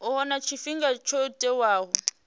a huna tshifhinga tsho tiwaho